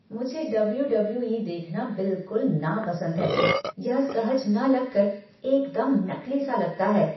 मुझे W W E देखना बिल्कुल नापसंद है। यह सहज न लग कर एकदम नकली सा लगता है।